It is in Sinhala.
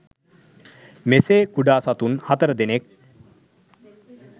මෙසේ කුඩා සතුන් හතර දෙනෙක්